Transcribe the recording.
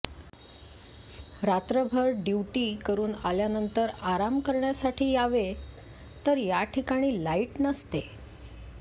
रात्रभर ड्युटी करून आल्यानंतर आराम करण्यासाठी यावे तर याठिकाणी लाइट नसते